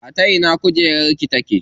A ta ina kujerar ki take?